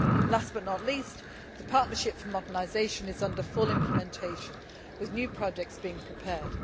Last but not least, the Partnership for Modernisation is under full implementation, with new projects being prepared.